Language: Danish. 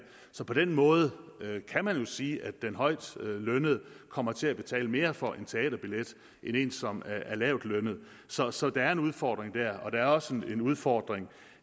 så på den måde kan man jo sige at den højtlønnede kommer til at betale mere for en teaterbillet end en som er lavtlønnet så så der er en udfordring der der er også en udfordring